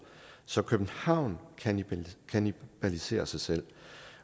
så københavn kannibaliserer sig selv